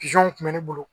kun bɛ ne bolo